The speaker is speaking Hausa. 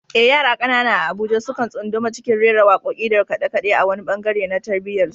Eh, yara kanana a Abuja sukan tsunduma cikin rera wakoki da kade-kade a wani bangare na tarbiyyarsu.